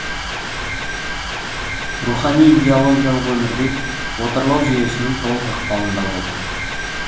рухани идеологиялық өмірде отарлау жүйесінің толық ықпалында болды